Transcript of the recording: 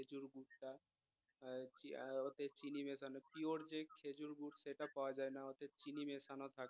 আহ উহ অর্ধেক সানি ওতে চিনি মেশানো পিওর যে খেজুর গুড় সেটা পাওয়া না অর্ধেক চিনি মেশানো থাকে